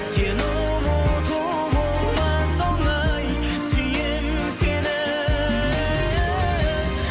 сені ұмыту болмас оңай сүйемін сені